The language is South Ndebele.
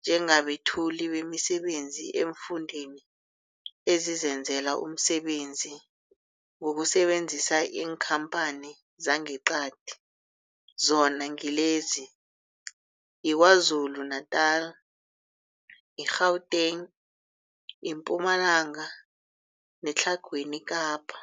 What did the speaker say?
njengabethuli bemisebenzi eemfundeni ezizenzela umsebenzi ngokusebenzisa iinkhamphani zangeqadi, zona ngilezi, yiKwaZulu-Natala, i-Gauteng, iMpumalanga neTlhagwini Kapa.